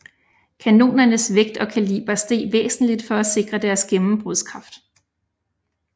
Kanonernes vægt og kaliber steg væsentligt for at sikre deres gennembrudskraft